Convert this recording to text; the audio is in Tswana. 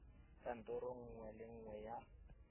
kantorong nngwe le nngwe ya